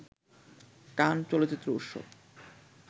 কান চলচ্চিত্র উৎসব